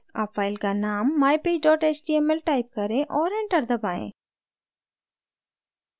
अब file का name mypage html type करें और enter दबाएँ